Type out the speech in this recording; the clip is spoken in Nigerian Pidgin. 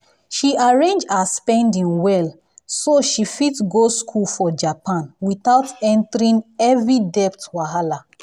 she arrange her spending well so so she fit go school for japan without entering heavy debt wahala.